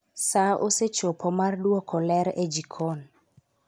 Sa osechopo mar dwoko ler e jikon